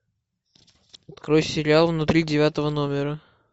открой сериал внутри девятого номера